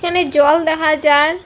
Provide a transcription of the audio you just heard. এনে জল দেখা যার ।